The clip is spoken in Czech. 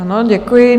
Ano, děkuji.